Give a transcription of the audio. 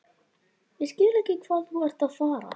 Ég skil ekki hvað þú ert að fara.